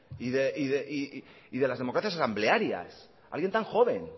y de las democracias asamblearias alguien tan joven